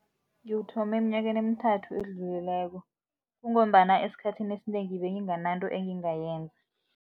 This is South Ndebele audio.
Ngiwuthome emnyakeni emithathu edlulileko kungombana esikhathini esinengi bengingananto engingayenza.